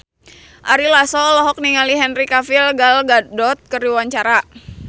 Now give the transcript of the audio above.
Ari Lasso olohok ningali Henry Cavill Gal Gadot keur diwawancara